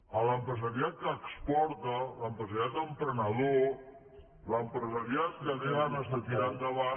a l’empresariat que exporta l’empresariat emprenedor l’empresariat que té ganes de tirar endavant